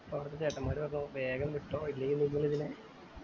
അപ്പൊ അവിടത്തെ ചേട്ടന്മാര് പറഞ്ഞു വേഗം വിട്ടോ അല്ലെങ്കി നിങ്ങൾ ഇതിനു